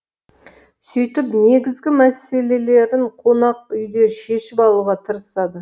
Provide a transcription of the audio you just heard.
сөйтіп негізгі мәселелерін қонақ үйде шешіп алуға тырысады